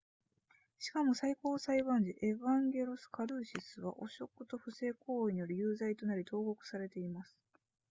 しかも最高裁判事エヴァンゲロスカルーシスは汚職と不正行為により有罪となり投獄されています